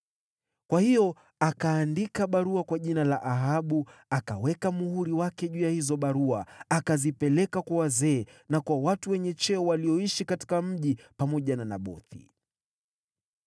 Kwa hiyo akaandika barua kwa jina la Ahabu akaweka muhuri wake juu ya hizo barua, akazipeleka kwa wazee na kwa watu wenye cheo walioishi katika mji pamoja na Nabothi.